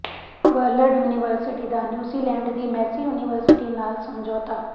world university ਦਾ New Zealand ਦੀ Massey university ਨਾਲ ਸਮਝੌਤਾ